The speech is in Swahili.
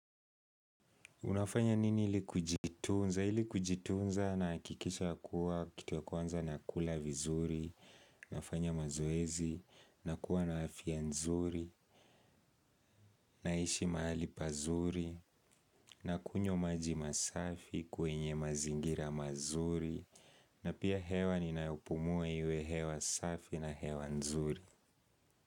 Unafanya nini ili kujitunza? Ili kujitunza nahakikisha kuwa kitu ya kwanza nakula vizuri, nafanya mazoezi, nakuwa na afya nzuri, naishi mahali pazuri, na kunywa maji masafi kwenye mazingira mazuri, na pia hewa ninayopumua iwe hewa safi na hewa nzuri.